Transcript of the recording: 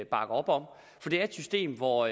bakke op om for det er et system hvor